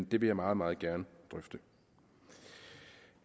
vil jeg meget meget gerne drøfte